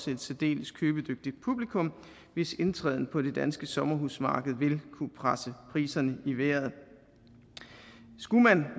et særdeles købedygtigt publikum hvis indtræden på det danske sommerhusmarked vil kunne presse priserne i vejret skulle man